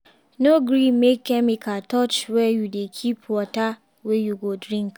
no gree make chemical touch where you dey keep water wey you go drink.